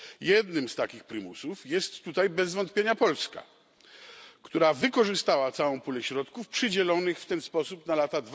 Jednym z takich prymusów jest tutaj bez wątpienia Polska, która wykorzystała całą pulę środków przydzielonych w ten sposób na lata